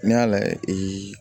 N'i y'a layɛ